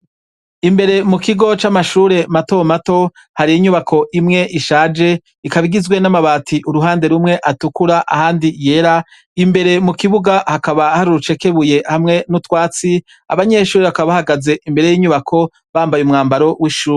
Imbere mu kigo c'amashure matomato hari inyubako imwe ishaje ikaba igizwe n'amabati uruhande rumwe atukura abandi yera, imbere mu kibuga hakaba hari urucekebuye hamwe n'utwatsi, abanyeshure bakaba bahagaze imbere y'inyubako bambaye umwambaro w'ishure.